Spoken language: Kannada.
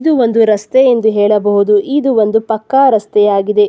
ಇದು ಒಂದು ರಸ್ತೆ ಎಂದು ಹೇಳಬಹುದು ಇದು ಒಂದು ಪಕ್ಕಾ ರಸ್ತೆಯಾಗಿದೆ.